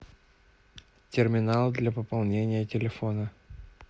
терминал для пополнения телефона